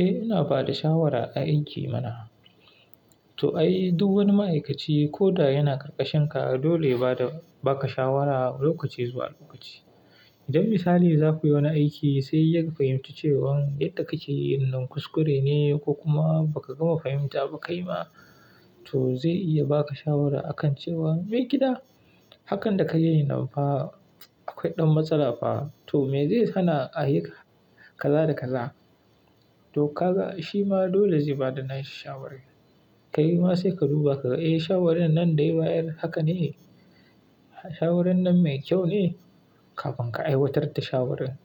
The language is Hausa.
Eh, ina ba da shawara a aiki mana. To ai, duk wani ma'aikaci ko da yana karkashinka, dole ya ba da baka shawara lokaci zuwa lokaci. Idan misali za ku yi wani aiki sai ya fahimci cewan yadda kake yi nan kuskure ne ko kuma ba ka gama fahimta ba kai ma, to zai iya baka shawara akan cewa, "Me gida, hakan da ka yi nan fa akwai ɗan matsala fa. To me zai hana ahika kaza da kaza?" To kaga shi ma dole zai ba da nasi shawara. Ka yi ma sai ka duba ka ga, shawarar nan dai ba'yar haka ne? Shawaran nan mai kyau ne?" Kamin ka aiwatar da shawarar.